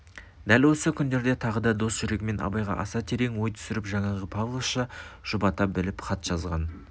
дәл осы күндерде тағы да дос жүрегімен абайға аса терең ой түсіріп жаңағы павловша жұбата біліп хат жазған